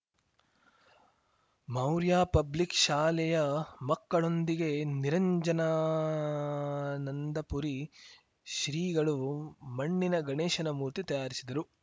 Maurya public ಶಾಲೆಯ ಮಕ್ಕಳೊಂದಿಗೆ ನಿರಂಜನಾನಂದಪುರಿ ಶ್ರೀಗಳು ಮಣ್ಣಿನ ಗಣೇಶನ ಮೂರ್ತಿ ತಯಾರಿಸಿದರು